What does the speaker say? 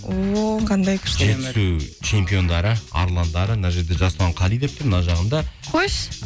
о қандай күшті жетісу чемпиондары арландары мына жерде жасұлан қали деп тұр мына жағында қойшы